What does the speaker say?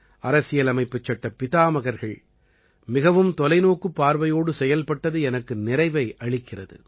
அரசியலமைப்புச்சட்ட பிதாமகர்கள் மிகவும் தொலைநோக்குப் பார்வையோடு செயல்பட்டது எனக்கு நிறைவை அளிக்கிறது